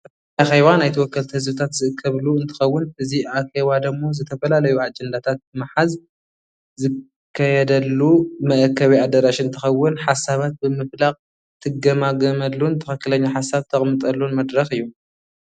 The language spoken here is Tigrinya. እዚ ኣኬባ ናይ ተወከልቲ ህዝብታት ዝእከብሉ እንትከውን እዚ ኣከባ ዶሞ ዝተፈላዩ አጀንዳታት ብምሃዝ ዝከየደሉ መእከቤ ኣደራሽ እንትከወን ሓሳባት ብምፍላቅ ትጋማገመሉን ተክክለኛ ሓሳብ ተቅምጠልን መድረክ እዩ።